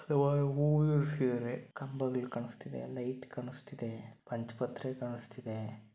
ಆವಾ ಎ ಹೂವ ಏರಿಸಿದ್ದಾರೆ. ಕಂಬಗಲ್ ಕಾಣಸ್ತಿದೆ ಲೈಟ್ ಕಾಣಸ್ತಿದೆ. ಪಂಚಪಾತ್ರೆ ಕಾಣಸ್ತಿದೆ.